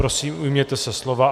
Prosím, ujměte se slova.